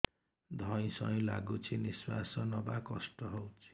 ଧଇଁ ସଇଁ ଲାଗୁଛି ନିଃଶ୍ୱାସ ନବା କଷ୍ଟ ହଉଚି